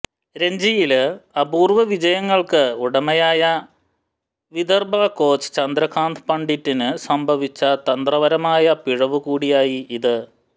രഞ്ജിയില് അപൂര്വവിജയങ്ങള്ക്ക് ഉടമയായ വിദര്ഭ കോച്ച് ചന്ദ്രകാന്ത് പണ്ഡിറ്റിന് സംഭവിച്ച തന്ത്രപരമായ പിഴവുകൂടിയായി ഇത്